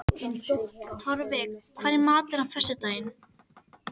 Torfi, hvað er í matinn á föstudaginn?